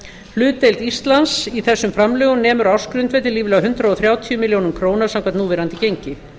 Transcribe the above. hlutdeild íslands í þessum framlögum nemur á ársgrundvelli ríflega hundrað þrjátíu milljónir króna samkvæmt núverandi gengi